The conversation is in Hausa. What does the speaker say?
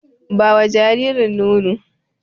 Ba wa jaririn nono!